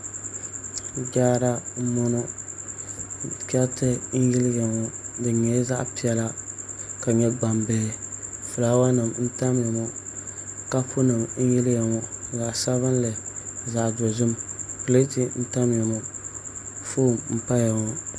Jaara n boŋo chɛriti n yiliya ŋo di nyɛla zaɣ piɛla ka nyɛ gbambihi fulaawa nim n tamya ŋo kapu nim n yiliya ŋo zaɣ sabinli zaɣ dozim pileeti n tamya ŋo foon n paya ŋo